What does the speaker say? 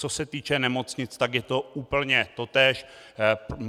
Co se týče nemocnic, tak je to úplně totéž.